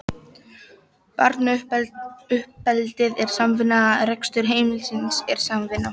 Barnauppeldið er samvinna, rekstur heimilisins er samvinna.